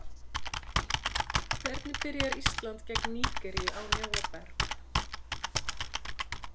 Hvernig byrjar Ísland gegn Nígeríu án Jóa Berg?